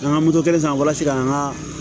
An ka moto kelen san walasa ka an ka